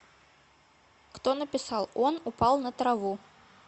кто написал он упал на траву